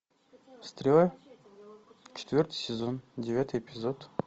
стрела четвертый сезон девятый эпизод